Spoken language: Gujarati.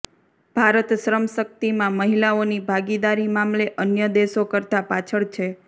ભારત શ્રમશક્તિમાં મહિલાઓની ભાગીદારી મામલે અન્ય દેશો કરતાં પાછળ છે